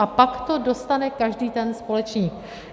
A pak to dostane každý ten společník.